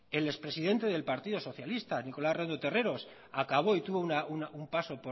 el ex presidente del partido socialista nicolás redondo terreros acabó y tuvo un paso